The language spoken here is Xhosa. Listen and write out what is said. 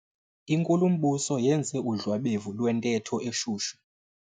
Inkulumbuso yenze udlwabevu lwentetho eshushu.